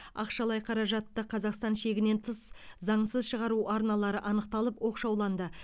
ақшалай қаражатты қазақстан шегінен тыс заңсыз шығару арналары анықталып оқшауланды